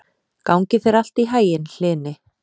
Gangi þér allt í haginn, Hlini.